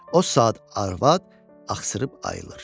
O saat arvad axsırıb ayılır.